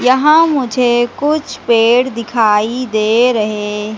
यहां मुझे कुछ पेड़ दिखाई दे रहे--